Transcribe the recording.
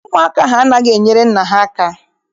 Ụmụaka ahụ anaghị enyere nne ha aka.